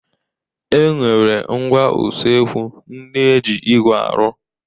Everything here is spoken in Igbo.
E nwere ngwá usekwu ndị e ji igwe arụ.